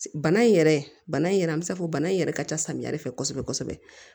Bana in yɛrɛ bana in yɛrɛ an bi se k'a fɔ bana in yɛrɛ ka ca samiya de fɛ kosɛbɛ kosɛbɛ